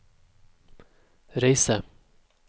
reise